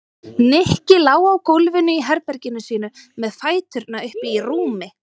Nikki lá á gólfinu í herberginu sínu með fæturna uppi í rúmi.